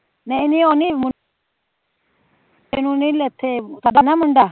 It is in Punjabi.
ਨਹੀਂ ਨਹੀਂ ਉਹ ਨੀ